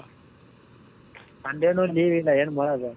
sunday ನು leave ಇಲ್ಲ ಏನ್ ಮಾಡದು ?